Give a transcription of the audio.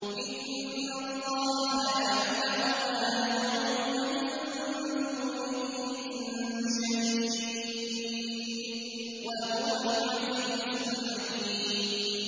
إِنَّ اللَّهَ يَعْلَمُ مَا يَدْعُونَ مِن دُونِهِ مِن شَيْءٍ ۚ وَهُوَ الْعَزِيزُ الْحَكِيمُ